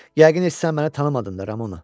Yəqin heç sən məni tanımadın da Ramona.